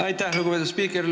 Aitäh, lugupeetud spiiker!